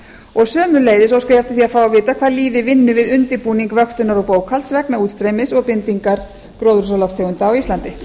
og sömuleiðis óska ég eftir því að fá að vita hvað líði vinnu við undirbúning vöktunar og bókhalds vegna útstreymis og bindingar gróðurhúsalofttegunda á íslandi